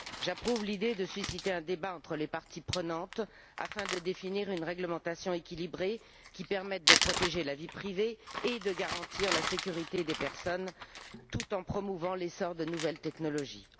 J'approuve l'idée de susciter un débat entre les parties prenantes afin de définir une réglementation équilibrée qui permette de protéger la vie privée et de garantir la sécurité des personnes tout en promouvant l'essor de nouvelles technologies.